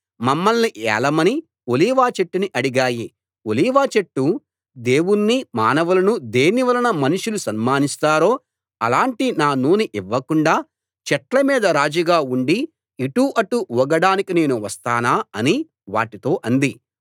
మమ్మల్ని ఏలమని ఒలీవచెట్టుని అడిగాయి ఒలీవచెట్టు దేవుణ్ణీ మానవులనూ దేనివలన మనుషులు సన్మానిస్తారో అలాటి నా నూనె ఇవ్వకుండా చెట్ల మీద రాజుగా ఉండి ఇటు అటు ఊగడానికి నేను వస్తానా అని వాటితో అంది